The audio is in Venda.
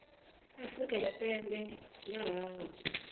afrika tshipembe nga ha u